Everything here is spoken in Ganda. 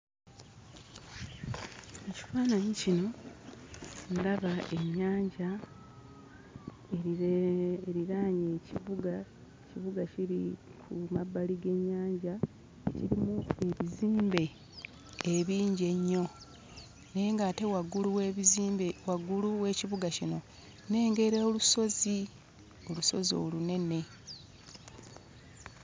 Mu kifaananyi kino ndaba ennyanja eriraanye ekibuga. Ekibuga kiri ku mabbali g'ennyanja, kirimu ebizimbe ebingi ennyo naye ng'ate waggulu w'ebizimbe waggulu w'ekibuga kino, nnengera olusozi; olusozi olunene.